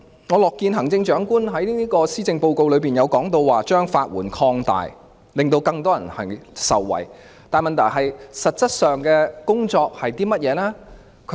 我樂見行政長官在施政報告提到擴大法律援助服務，令更多人受惠。但問題是，實質的工作是甚麼？